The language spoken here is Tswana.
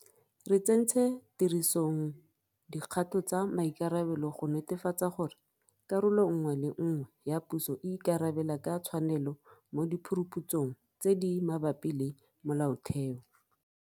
Re tsentse tirisong dikgato tsa maikarabelo go netefatsa gore karolo nngwe le nngwe ya puso e ikarabela ka tshwanelo mo diphuruphutsong tse di mabapi le molaotheo.